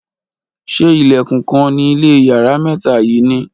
ṣe ìlèkùn kan ni ile iyare mẹta yi ni